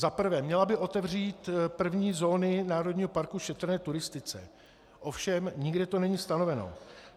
Za prvé, měla by otevřít první zóny národního parku šetrné turistice, ovšem nikde to není stanoveno.